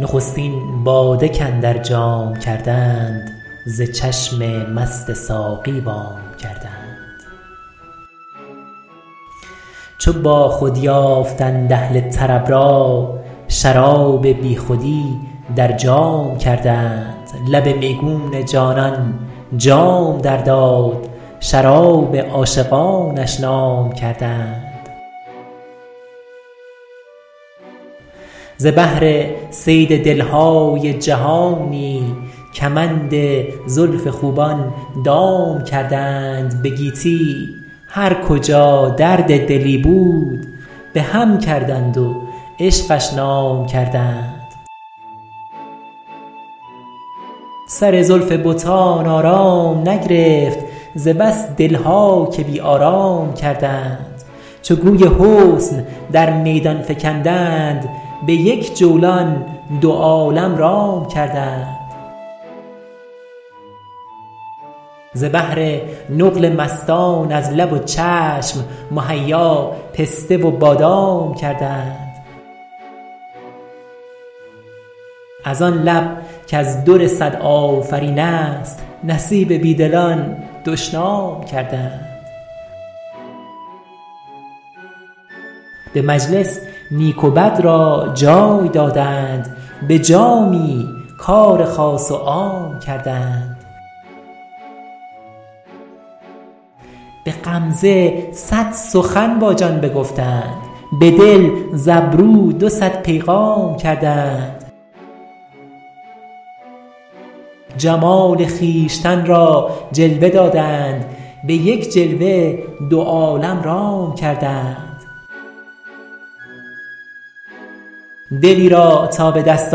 نخستین باده کاندر جام کردند ز چشم مست ساقی وام کردند چو باخود یافتند اهل طرب را شراب بیخودی در جام کردند لب میگون جانان جام در داد شراب عاشقانش نام کردند ز بهر صید دل های جهانی کمند زلف خوبان دام کردند به گیتی هر کجا درد دلی بود به هم کردند و عشقش نام کردند سر زلف بتان آرام نگرفت ز بس دل ها که بی آرام کردند چو گوی حسن در میدان فکندند به یک جولان دو عالم رام کردند ز بهر نقل مستان از لب و چشم مهیا پسته و بادام کردند از آن لب در خور صد آفرین است نصیب بی دلان دشنام کردند به مجلس نیک و بد را جای دادند به جامی کار خاص و عام کردند به غمزه صد سخن با جان بگفتند به دل ز ابرو دو صد پیغام کردند جمال خویشتن را جلوه دادند به یک جلوه دو عالم رام کردند دلی را تا به دست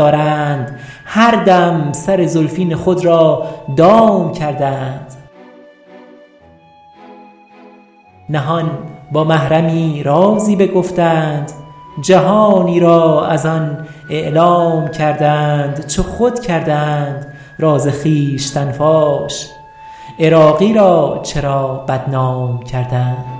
آرند هر دم سر زلفین خود را دام کردند نهان با محرمی رازی بگفتند جهانی را از آن اعلام کردند چو خود کردند راز خویشتن فاش عراقی را چرا بدنام کردند